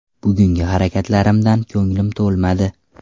Bugungi harakatlarimdan ko‘nglim to‘lmadi.